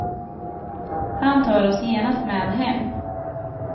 Han tar oss genast med hem.